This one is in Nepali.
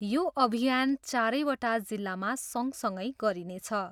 यो अभियान चारैवटा जिल्लामा सँगसँगै गरिनेछ।